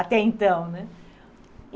Até então, né?